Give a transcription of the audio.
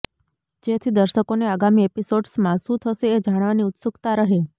જેથી દર્શકોને આગામી એપિસોડ્સમાં શું થશે એ જાણવાની ઉત્સુક્તા રહે